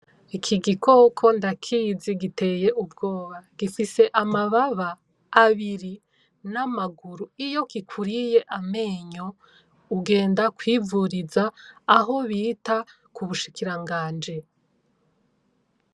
Ikigikoko ndakizi giteye ubwoba. Gifise amababa abiri namaguru iyo kikuriye amenyo ugenda kwivuriza aho bita kubushikiranganji.